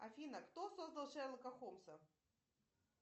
афина кто создал шерлока холмса